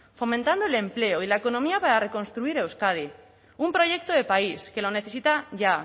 fomentando el empleo y la economía para reconstruir euskadi un proyecto de país que lo necesita ya